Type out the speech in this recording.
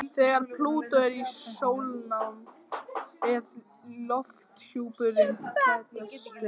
Þegar Plútó er í sólnánd er lofthjúpurinn þéttastur.